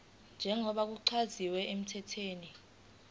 njengoba kuchaziwe emthethweni